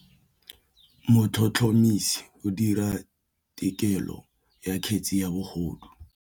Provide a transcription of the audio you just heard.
Motlhotlhomisi o dira têkolô ya kgetse ya bogodu.